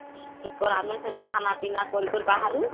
ର ଆମେ ସେନୁ ଖାନା ପିନା କରିକରି ବାହାରୁ